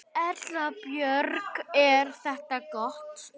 Erla Björg: Er þetta gott?